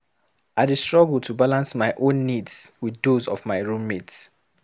I dey struggle to balance my own needs with those of my roommate.